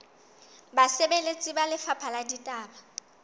basebeletsi ba lefapha la ditaba